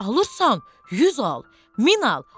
Alırsan 100 al, 1000 al.